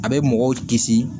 A bɛ mɔgɔw kisi